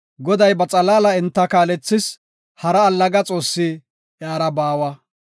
Goday ba xalaala enta kaalethis; hara allaga xoossi iyara baawa.